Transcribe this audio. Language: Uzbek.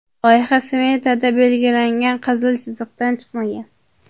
Loyiha smetada belgilangan qizil chiziqdan chiqmagan.